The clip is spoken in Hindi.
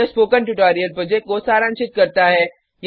यह स्पोकन ट्यटोरियल प्रोजेक्ट को सारांशित करता है